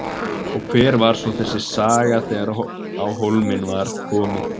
Og hver var svo þessi saga þegar á hólminn var komið?